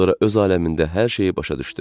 Sonra öz aləmində hər şeyi başa düşdü.